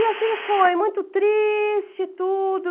E assim foi, muito triste, tudo.